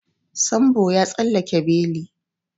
Sambo ya tsallake beli.